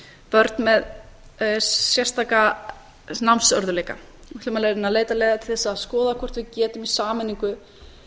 börn með sérstaka námsörðugleika við ætlum að reyna að leita leiða til að skoða hvort við getum í sameiningu